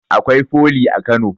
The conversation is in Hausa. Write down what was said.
Akwai foli a kano